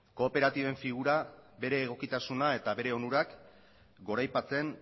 kooperatiben figura bere egokitasuna eta bere onurak goraipatzen